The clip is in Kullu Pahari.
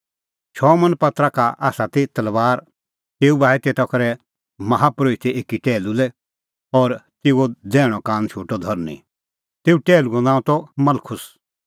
शमौन पतरसा का ती तलबार तेऊ बाही तेता करै बाही माहा परोहिते एकी टैहलू लै और तेऊओ दैहणअ कान शोटअ धरनीं तेऊ टैहलू नांअ त मलखुस